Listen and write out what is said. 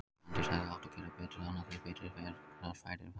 Fanndís hefði átt að gera betur þarna, því betri gerast færin varla.